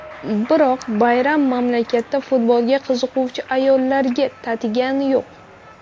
Biroq bayram mamlakatda futbolga qiziquvchi ayollarga tatigani yo‘q.